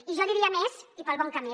i jo diria més i pel bon camí